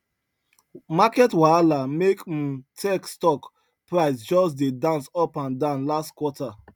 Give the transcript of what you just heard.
market wahala make um tech stock price just dey dance up and down last quarter